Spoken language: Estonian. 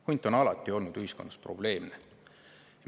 Hunt on alati olnud ühiskonnas probleemne.